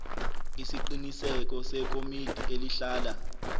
isiqiniseko sekomiti elihlala